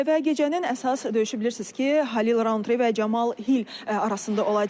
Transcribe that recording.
Və gecənin əsas döyüşü bilirsiz ki, Halil Roundtree və Camal Hil arasında olacaq.